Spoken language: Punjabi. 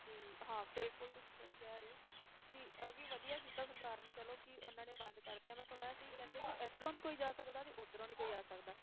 ਜੀ ਹਾਂ ਬਿਲਕੁਲ ਤੁਸੀਂ ਸਹੀ ਕਹਿ ਰਹੇ ਹੋ, ਕਿ ਇਹ ਵੀ ਵਧੀਆ ਕੀਤਾ ਸਰਕਾਰ ਨੇ ਚਲੋ ਕਿ ਉਹਨਾਂ ਨੇ ਬੰਦ ਕਰ ਦਿੱਤੀਆਂ ਮੈਂ ਸੁਣਿਆ ਸੀ ਕਹਿੰਦੇ ਕਿ ਇੱਧਰੋਂ ਨੀ ਕੋਈ ਜਾ ਸਕਦਾ ਤੇ ਉੱਧਰੋਂ ਨੀ ਕੋਈ ਆ ਸਕਦਾ।